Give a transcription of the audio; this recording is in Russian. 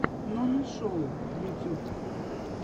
нонишоу ютюб